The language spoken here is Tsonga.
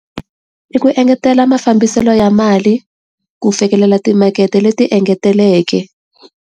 I ku engetela mafambiselo ya mali, ku fikelela timakete leti engeteleleke.